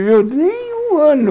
Nem um ano.